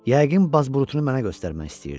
Yəqin bazburutunu mənə göstərmək istəyirdi.